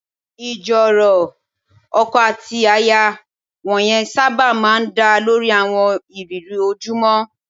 Ìjíròrò ọkọ àti aya wọ̀nyẹn sábà máa ń dá lórí àwọn ìrírí ojoojúmọ́